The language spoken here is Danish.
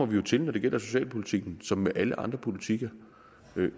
vi til når det gælder socialpolitikken som alle andre politikker